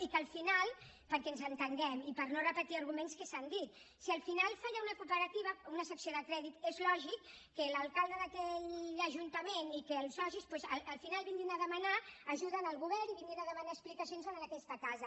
i que al final perquè ens entenguem i per no repetir arguments que s’han dit si al final falla una cooperativa una secció de crèdit és lògic que l’alcalde d’aquell ajuntament i que els socis doncs al final vinguin a demanar ajuda al govern i vinguin a demanar explicacions a aquesta casa